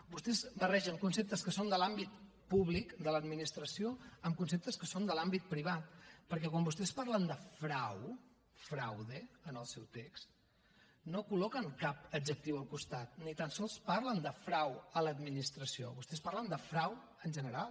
vostès barregen conceptes que són de l’àmbit públic de l’administració amb conceptes que són de l’àmbit privat perquè quan vostès parlen de frau fraude en el seu text no col·loquen cap adjectiu al costat ni tan sols parlen de frau a l’administració vostès parlen de frau en general